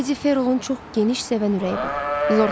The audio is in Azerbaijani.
Lady Ferolun çox geniş sevən ürəyi var.